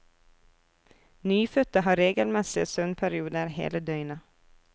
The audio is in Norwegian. Nyfødte har regelmessige søvnperioder hele døgnet.